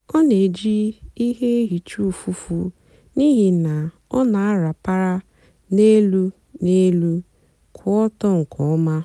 ọ na-èjì ihe hìcha ụ́fụ́fụ́ n'ihí na ọ na-àrapàra n'elú èlù kwụ́ ọ́tọ́ nkè ọ́ma.